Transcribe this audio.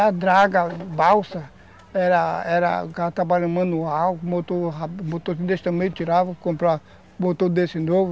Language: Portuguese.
E a draga, balsa, era era trabalho manual, motor desse tamanho, tirava, comprava, botou desse novo,